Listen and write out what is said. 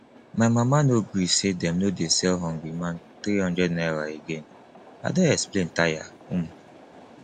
my mama no gree say dem no dey sell hungry man three hundred naira again i don explain tire um